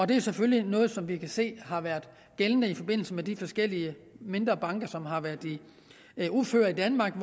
det er selvfølgelig noget som vi kan se har været gældende i forbindelse med de forskellige mindre banker som har været i uføre i danmark